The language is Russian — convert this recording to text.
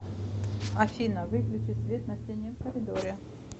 афина выключи свет на стене в коридоре